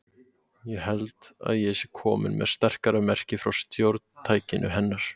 Ég held að ég sé komin með sterkara merki frá stjórntækinu hennar.